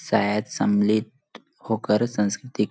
शायद समल्लित होकर संस्कृति--